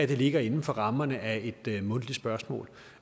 det ligger inden for rammerne af et mundtligt spørgsmål